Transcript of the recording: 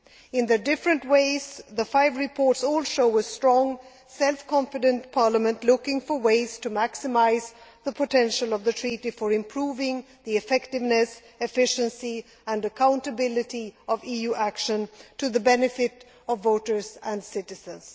In their different ways, the five reports all show a strong, self confident Parliament looking for ways to maximise the potential of the Treaty for improving the effectiveness, efficiency and accountability of EU action, to the benefit of voters and citizens.